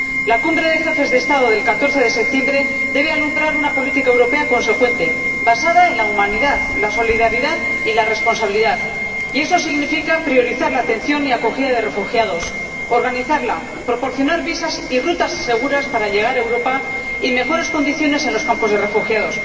La Cumbre de Jefes de Estado del 14 de septiembre debe alumbrar una política europea consecuente basada en la humanidad, la solidaridad y la responsabilidad, y eso significa priorizar la atención y acogida de refugiados, organizarla, proporcionar visados y rutas seguras para llegar a Europa y mejores condiciones en los campos de refugiados.